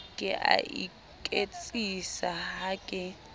ke a iketsisa ha ke